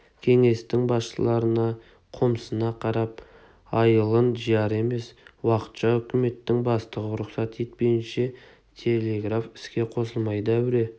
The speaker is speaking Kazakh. кеңестің басшыларына қомсына қарап айылын жияр емес уақытша үкіметтің бастығы рұқсат етпейінше телеграф іске қосылмайды әуре